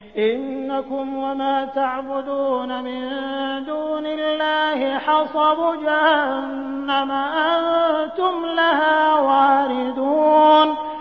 إِنَّكُمْ وَمَا تَعْبُدُونَ مِن دُونِ اللَّهِ حَصَبُ جَهَنَّمَ أَنتُمْ لَهَا وَارِدُونَ